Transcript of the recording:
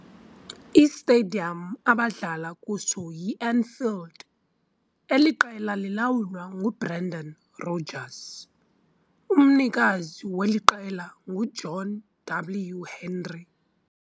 I-Stadium abadlala kuso yi-Anfield. eli qela liLawulwa nguBrendan Rodgers. umnikazi weli qela ngu-John W Henry.